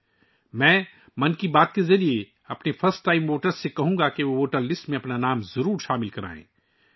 'من کی بات' کے ذریعے میں اپنے پہلی بار ووٹ ڈالنے والوں سے کہوں گا کہ وہ اپنے نام ووٹر لسٹ میں ضرور شامل کروائیں